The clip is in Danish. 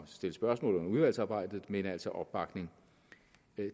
stille spørgsmål under udvalgsarbejdet men altså opbakning